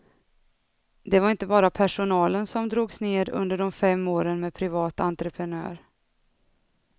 Det var inte bara personalen som drogs ned under de fem åren med privat entreprenör.